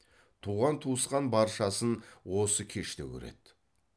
туған туысқан баршасын осы кеште көреді